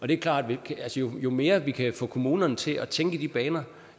det er klart at jo mere vi kan få kommunerne til at tænke i de baner